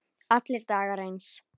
Allir dagar eins.